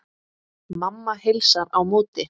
Mamma heilsar á móti.